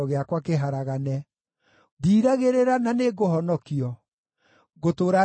Ndiiragĩrĩra, na nĩngũhonokio; ngũtũũra ndĩĩte uuge waku.